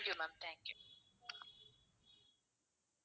thank you ma'am thank you